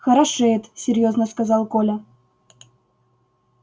хорошеет серьёзно сказал коля